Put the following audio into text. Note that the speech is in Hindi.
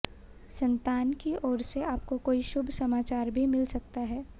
संतान की ओर से आपको कोई शुभ समाचार भी मिल सकता है